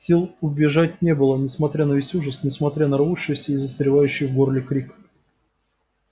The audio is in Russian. сил убежать не было несмотря на весь ужас несмотря на рвущийся и застревающий в горле крик